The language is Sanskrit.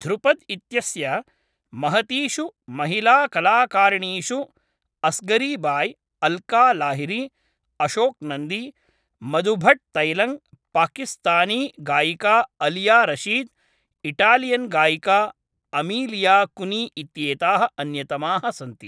ध्रुपद् इत्यस्य महतीषु महिलाकलाकारिणीषु अस्गरी बाय्, अल्का लाहिरी, अशोक् नन्दी, मधु भट्ट् तैलङ्ग्, पाकिस्तानी गायिका आलिया रशीद्, इटालियन् गायिका अमीलिया कुनी इत्येताः अन्यतमाः सन्ति।